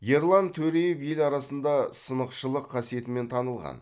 ерлан төреев ел арасында сынықшылық қасиетімен танылған